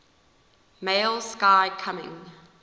male sky coming